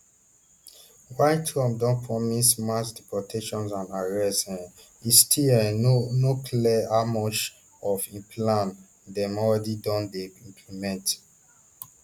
while trump don promise mass deportations and arrests um e still um no no clear how much of im plan dem already don dey implement